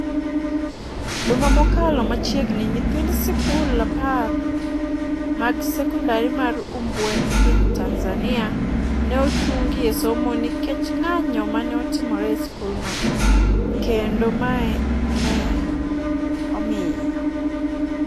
Juma mokalo machiegni, nyithind sikul apar mag sekondar mar Umbwe e piny Tanzania ne ochungi e somo, nikech ng'anjo mane otimore e sikul no, kendo mae ne omiyo